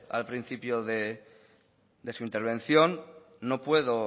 al principio de su intervención no puedo